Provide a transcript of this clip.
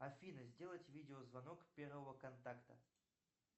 афина сделать видео звонок первого контакта